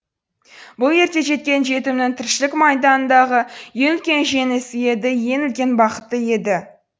бұл ерте жеткен жетімнің тіршілік майданындағы ең үлкен жеңісі еді ең үлкен бақыты еді